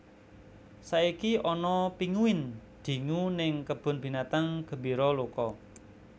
Saiki ana pinguin dingu ning Kebun Binatang Gembira Loka